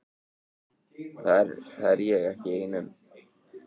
Það er ég ekki ein um.